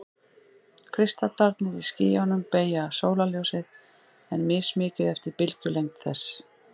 Kristallarnir í skýjunum beygja sólarljósið, en mismikið eftir bylgjulengd þess.